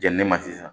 Jɛnini ma sisan